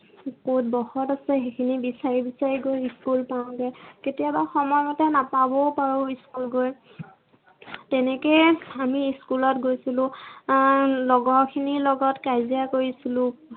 ক'ত বহত আছে। সেইখিনি বিচাৰি বিচাৰি গৈ school পাওঁগে। কেতিয়াবা সময় মতে নাপাবও পাৰো school গৈ। তেনেকেই আমি school ত গৈছিলো। আহ লগৰখিনিৰ লগত কাজিয়া কৰিছিলো।